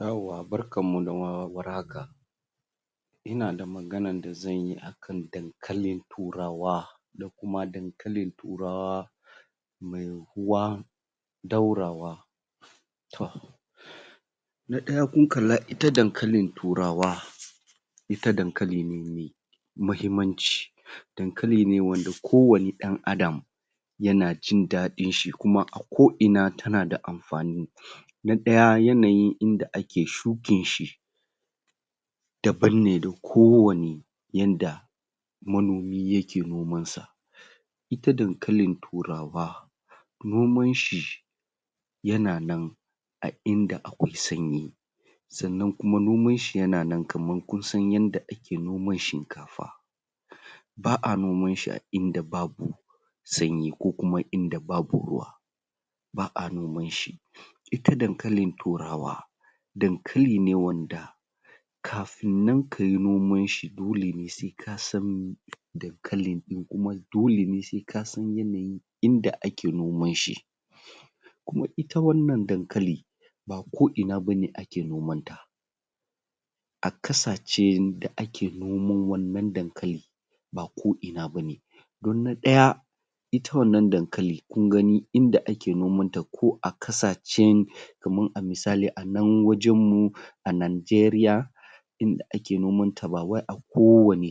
Yauwa barkan mu da war haka ina da maganan da zan yi akan dankalin turawa na kuma dankalin turawa???? ɗaurawa na ɗaya kun kalla ita dankalin turawa ita dankali ne mai muhimmanci dankali ne wanda wanne ɗan adam yana jin daɗin shi kuma ko ina tana da amfani na ɗaya yanayin inda ake shukin shi daban ne da kowane yanda manomi yake noman sa ita dankalin turawa noman shi yana nan a inda akwai sanyi sannan kuma noman shi yana nan kaman kun san yadda ake noman shinkafa ba'a noman shi a inda babu sanyi ko kuma inda babu ruwa ba'a noman shi ita dankalin turawa dankali ne wanda kafin nan kayi noman shi dole ne sai ka san dankali ɗin kuma dole ne sai ka san yanayi inda ake noman shi kuma ita wannan dankali ba ko ina bane ake noman ta a ƙasashen da ake noman wannan dankali ba ko ina bane don na ɗaya ita wannan dankali kun gani inda ake noman ta ko a ƙasashen kaman a misali a nan wajen mu a Najeriya ina da ake noman ta ba wai a kowane???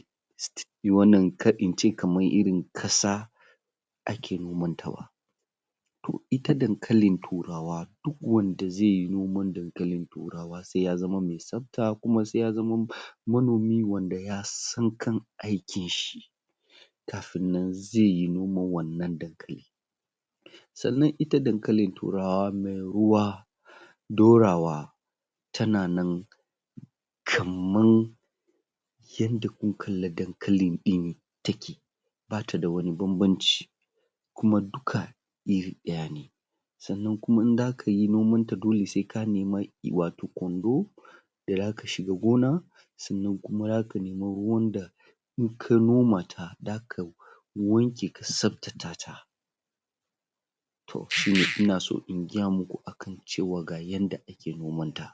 wannan kar in ce kamar irin ƙasa ake nomanta ba to ita dankalin turawa duk wanda zai yi noman dankalin turawa sai ya zama mai tsafta kuma sai zama manomi wanda ya san kan aikin shi kafin nan zai yi noman wannan dankali sannan ita dankalin turawa mai ruwa ɗorawa tana nan kamar???? ba ta da wani banbanci kuma duka iri ɗaya ne sannan kuma in zaka yi noman ta dole sai nemi kwando da zaka shiga gona sannan kuma zaka nemi ruwan da in ka noma ta zaka wanke ka tsaftata ta to shi ina so in gaya muku akan cewa ga yanda ake noman ta